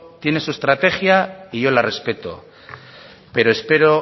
tiene su estrategia y yo la respeto pero espero